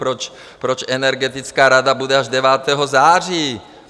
Proč Energetická rada bude až 9. září?